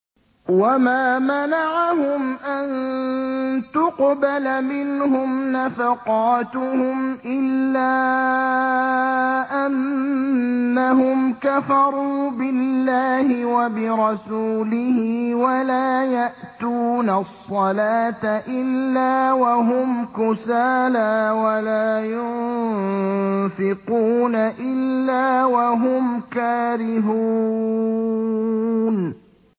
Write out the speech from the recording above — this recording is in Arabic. وَمَا مَنَعَهُمْ أَن تُقْبَلَ مِنْهُمْ نَفَقَاتُهُمْ إِلَّا أَنَّهُمْ كَفَرُوا بِاللَّهِ وَبِرَسُولِهِ وَلَا يَأْتُونَ الصَّلَاةَ إِلَّا وَهُمْ كُسَالَىٰ وَلَا يُنفِقُونَ إِلَّا وَهُمْ كَارِهُونَ